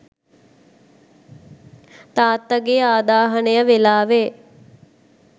තාත්තා ගේ ආදාහනය වෙලාවේ